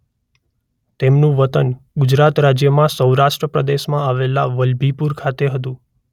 તેમનું વતન ગુજરાત રાજ્યમાં સૌરાષ્ટ્ર પ્રદેશમાં આવેલા વલભીપુર ખાતે હતું.